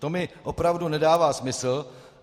To mi opravdu nedává smysl.